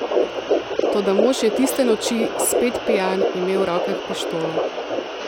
Toda mož je tiste noči, spet pijan, imel v rokah pištolo.